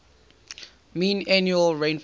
mean annual rainfall